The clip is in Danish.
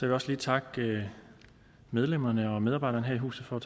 vil også lige takke medlemmerne og medarbejderne her i huset for at